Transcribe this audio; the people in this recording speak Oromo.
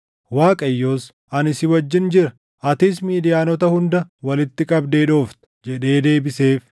Waaqayyos, “Ani si wajjin jira; atis Midiyaanota hunda walitti qabdee dhoofta” jedhee deebiseef.